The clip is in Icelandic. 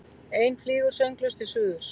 Ein flýgur sönglaus til suðurs.